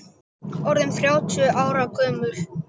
Orðinn þrjátíu ára gömul.